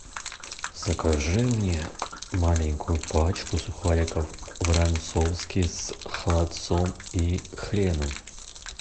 закажи мне маленькую пачку сухариков воронцовские с холодцом и хреном